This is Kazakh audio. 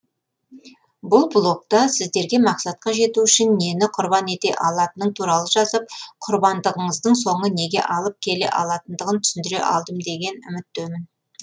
бұл блогта сіздерге мақсатқа жету үшін нені құрбан ете алатының туралы жазып құрбандығыңыздың соңы неге алып келе алатындығын түсіндіре алдым деген үміттемін